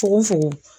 Fukofoko